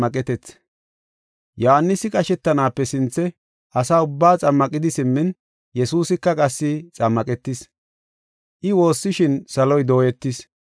Yohaanisi qashetanaape sinthe asaa ubbaa xammaqidi simmin, qasi Yesuusika xammaqetis. I woossishin saloy dooyetis.